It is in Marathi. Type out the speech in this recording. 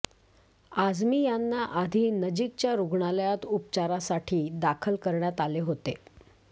आझमी यांना आधी नजीकच्या रुग्णालयात उपचारासाठी दाखल करण्यात आले होते